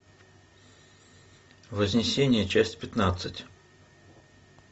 вознесение часть пятнадцать